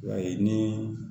I b'a ye ni